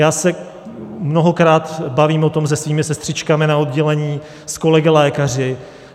Já se mnohokrát bavím o tom se svými sestřičkami na oddělení, s kolegy lékaři.